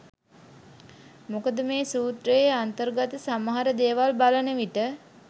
මොකද මේ සූත්‍රයේ අන්තර්ගත සමහර දේවල් බලන විට